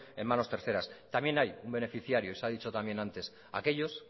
en manos terceras también hay un beneficiario y se ha dicho también antes aquellos